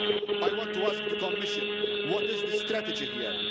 I want to ask the Commission what is the strategy here?